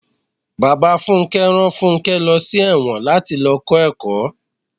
Bàbá Fúnké rán fúnké lọ sí èwòn láti lọ kó ẹ̀kọ́.